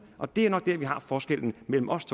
og det er nok det forskellen mellem os